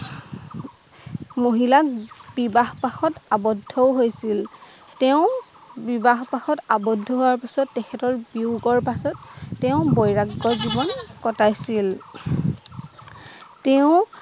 মহিলা বিবাহ পাশত আৱদ্ধ ও হৈছিল তেওঁ বিবাহ পাশত আৱদ্ধ হোৱাৰ পাছত তেখেতৰ বেউ কৰাৰ পাছত তেওঁ বৈৰাগ্য জীবন কটাইছিল তেওঁ